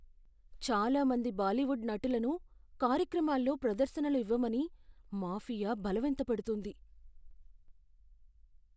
చాలా మంది బాలీవుడ్ నటులను కార్యక్రమాల్లో ప్రదర్శనలు ఇవ్వమని మాఫియా బలవంతపెడుతుంది.